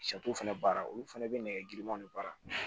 fɛnɛ baara olu fɛnɛ be nɛgɛ girimanw de baara